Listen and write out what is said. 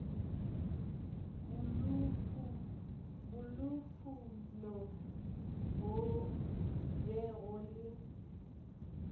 bolufuno go be go le